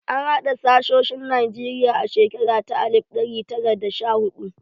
An haɗa sashoshin Najeriya a shekara ta alif ɗari tara da sha huɗu.